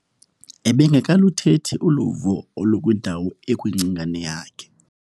Ebengekaluthethi uluvo olukwindawo ekwingcingane yakhe.